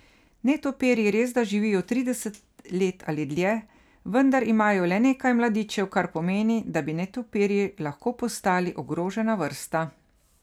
Netopirji resda živijo trideset let ali dlje, vendar imajo le nekaj mladičev, kar pomeni, da bi netopirji lahko postali ogrožena vrsta.